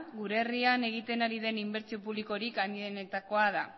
gure herrian egiten ari den inbertsio publikorik handienetarikoa da